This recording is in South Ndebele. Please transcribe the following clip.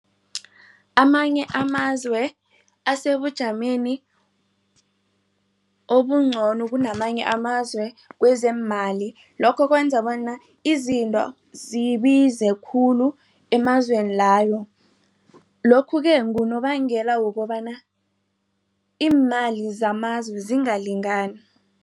Amanye amazwe asebujameni obungcono kunamanye amazwe kwezeemali. Lokho kwenza bona izinto zibize khulu emazweni layo. Lokhu-ke ngunobangela wokobana iimali zamazwe zingalingani.